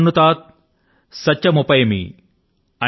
ఇదమహమనృతాత్ సత్యముపైమి అని